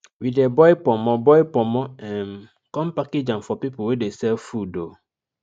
we dey boil ponmo boil ponmo um come package am for people wey de sell food um